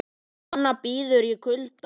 Kona bíður í kulda